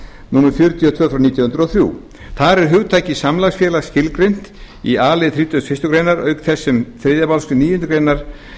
númer fjörutíu og tvö nítján hundruð og þrjú þar er hugtakið samlagsfélag skilgreint í a lið þrítugasta og þriðju greinar auk þess sem í þriðju málsgrein níundu grein